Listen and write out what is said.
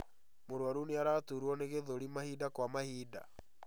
Mũrwaru nĩaraturwo nĩ gĩthũri mahinda kwa mahinda